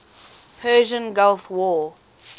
persian gulf war